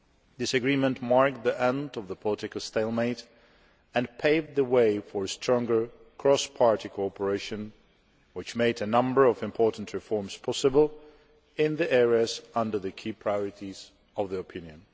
This agreement marked the end of the political stalemate and paved the way for stronger cross party cooperation which made a number of important reforms possible in the areas under the key priorities of the opinion.